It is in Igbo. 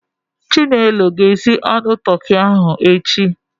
Chinelo ga-esi nri toki ahụ echi.